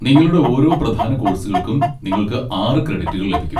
നിങ്ങളുടെ ഓരോ പ്രധാന കോഴ്സുകൾക്കും നിങ്ങൾക്ക് ആറ് ക്രെഡിറ്റുകൾ ലഭിക്കും.